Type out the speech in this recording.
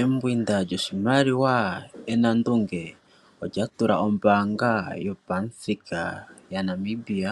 Embwinda lyoshimaliwa enandunge olya tula ombaanga yopamuthika yaNamibia,